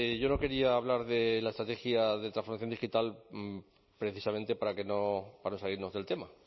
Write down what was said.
yo no quería hablar de la estrategia de transformación digital precisamente para no salirnos del tema